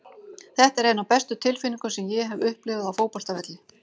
Þetta er ein af bestu tilfinningum sem ég hef upplifað á fótboltavelli.